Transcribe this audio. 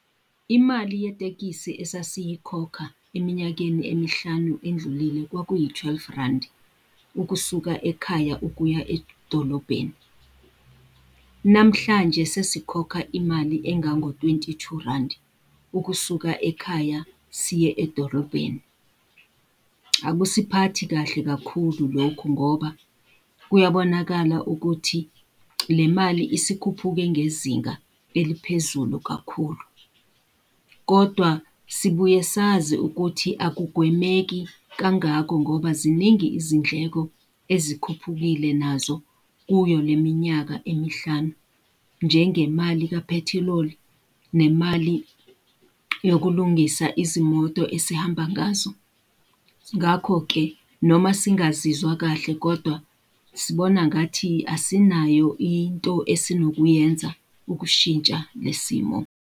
Imali yetekisi esasiyikhokha eminyakeni emihlanu endlulile kwakuyi-twelve randi, ukusuka ekhaya ukuya edolobheni. Namhlanje sesikhokha imali engango-twenty two randi, ukusuka ekhaya siye edorobheni. Akusiphathi kahle kakhulu lokho ngoba kuyabonakala ukuthi le mali isikhuphuke ngezinga eliphezulu kakhulu. Kodwa sibuye sazi ukuthi akugwemeki kangako, ngoba ziningi izindleko ezikhuphukile nazo kuyo le minyaka emihlanu. Njengemali kaphethiloli, nemali yokulungisa izimoto esihamba ngazo. Ngakho-ke noma singazizwa kahle kodwa, sibona ngathi asinayo into esinokuyenza ukushintsha le simo.